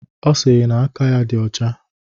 Ọ sịrị na aka ya dị ọcha